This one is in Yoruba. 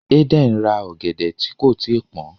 Eden rá ògèdè tí kò tíì pọn.